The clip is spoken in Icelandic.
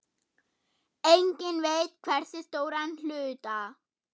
Enginn veit hversu stóran hluta.